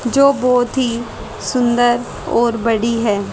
जो बहुत ही सुंदर और बड़ी है।